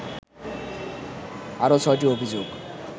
আরও ছয়টি অভিযোগ